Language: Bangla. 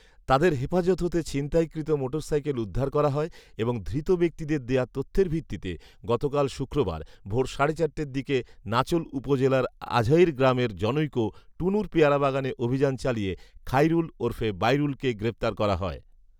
তাদের হেফাজত হতে ছিনতাইকৃত মোটরসাইকেল উদ্ধার করা হয় এবং ধৃত ব্যক্তিদের দেয়া তথ্যের ভিত্তিতে গতকাল শুক্রবার ভোর সাড়ে চারটার দিকে নাচোল উপজেলার আঝইর গ্রামের জনৈক টুনুর পেয়ারা বাগানে অভিযান চালিয়ে খাইরুল ওরফে বাইরুলকে গ্রেফতার করা হয়